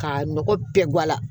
K'a nɔgɔ bɛɛ guwa la